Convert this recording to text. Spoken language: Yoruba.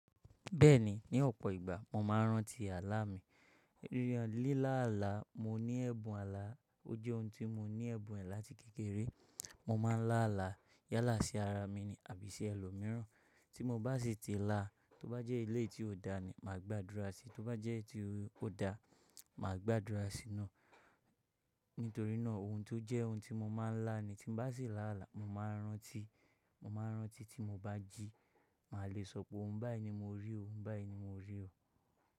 Bẹ́ẹ̀ni, ní ọ̀pọ̀ ìgbà mo máa ń rántí àlá mi. Ríran líláàlá, mo ní ẹ̀bùn àlá, ó jẹ́ ohun tí mo ní ẹ̀bùn ẹ̀ láti kékeré. Mo máa ń lá àlá yálà sí ara mi ni àbí sí ẹlòmíràn. Tí mo bá sì ti lá, tó bá jẹ́ ilé tí ò dá ni, màá gbàdúrà sí i, tó bá jẹ́ tí ó da, màá gbàdúrà sí i ná. Nítorí náà ohun tó jẹ́ ohun tí mo máa ń lá ni, tí bá sì là á là, mo máa rántí, mo máa rántí tí mo bá jí, màá le sọ pé òun báyìí ni mo rí òun, báyìí ni mo rí ò.